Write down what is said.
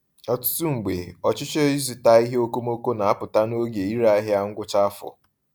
Ọtụtụ mgbe, ọchịchọ ịzụta ihe okomoko na-apụta n’oge ire ahịa ngwụcha afọ.